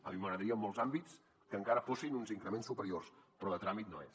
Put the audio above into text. a mi m’agradaria en molts àmbits que encara fossin uns increments superiors però de tràmit no és